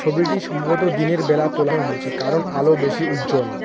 ছবিটি সম্ভবত দিনেরবেলা তোলা হয়েছে কারণ আলো বেশি উজ্জ্বল।